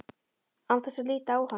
Án þess að líta á hann.